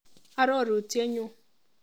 Arorutienyu.